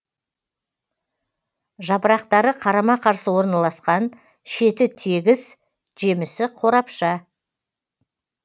жапырақтары қарама қарсы орналасқан шеті тегіс жемісі қорапша